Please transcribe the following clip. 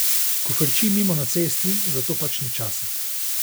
Ko frči mimo na cesti, za to pač ni časa.